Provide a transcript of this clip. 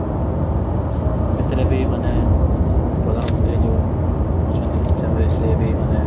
ସେଥିରେ ବି ମାନେ ଆମ ପ୍ରଧାନମନ୍ତ୍ରୀ ଯୋଉ ଅଛନ୍ତି ସେ ବି ମାନେ